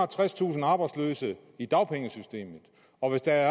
og tredstusind arbejdsløse i dagpengesystemet og hvis der